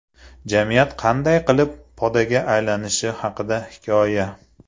Jamiyat qanday qilib podaga aylanishi haqida hikoya.